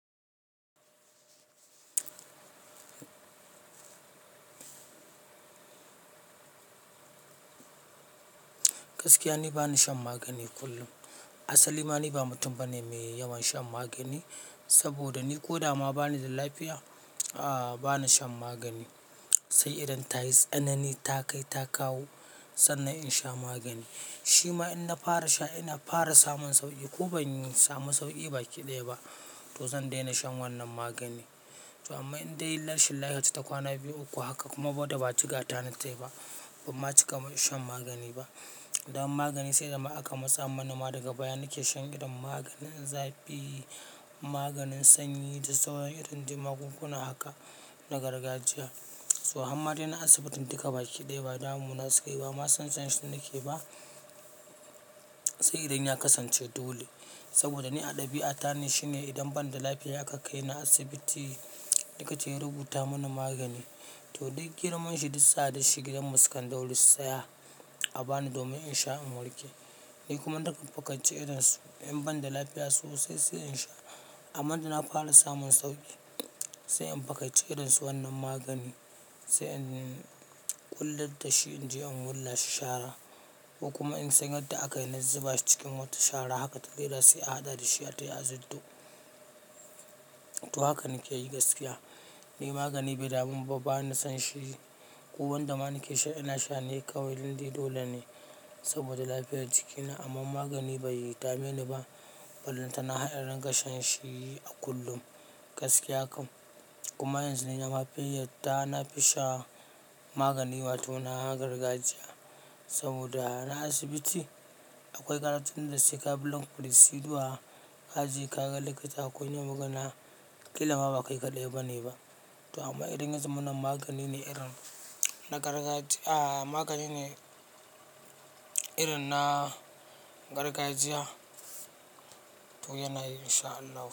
Gaskiya ne bani shan magani kullum. Asali ma ni ba mutum bane mai yawan shan magani, saboda ni ko da ma bani da lafiya, a bana shan magani. Sai idan ta yi tsanani ta kai ta kawo sannan in sha magani. Shi ma in na fara sha ina fara samun sauƙi ko ban samu sauƙi ba kiɗaya ba, to zan daina shan wannan magani. To amma in dai rashin lafiya ta kwana biyu uku haka kuma waddda ba ci kata na tai ba, bama cika shan magani ba. Da wa magani sai da ma aka matsa mana ma daga baya nake shan irin maganin zafi, maganin sanyi da sauran irin jin magunguna haka na gargajiya. To amma dai na asibitin dukabaki ɗaya ba damu na sakeyi ba. Ba san shan shi nake ba. Sai idin ya kasance dole, saboda ni a ɗabi'a ta ne shine idan banda lafiya akan kai ni asibiti, likita ya rubuta mana magani. To duk girman shi duk tsada shi gidan mu sukan daure su sa ya a bani domin in sha in warke. Ni kuma na riƙon fakace irin su in banda lafiya sosai, sai in sha. Amma da na fara samun sauƙi, sai in fakace idan su wannan magani, sai in ƙullatar da shi in je in wurla shi shara. Ko kuma in san yadda aka yana zuba shi cikin wata shara haka ta zira sai a hada da shi har ta yi aziddo. To haka nike yi gaskiya. Ni magani bai da man ba bani son shi. Ko wanda ma nake sha ina sha ne kawai dan dai dole ne saboda lafiyar jikina. Amma magani bai yi dame ni ba. Bala tana har in rinka shan shi a kullum gaskiya kam. Kuma yanzu ni na mafiyadda na fi sha magani wato na gargajiya. Saboda a na asibiti akwai karatun da sai ka bei ong procedure kaje ka ga lokaci akwai wani magana, kila ma baka kiɗa eba ne ba. To amma idan ya za mana magani ne irin na gargajiya, a magani ne irin na gargajiya to yana yi sha allahu.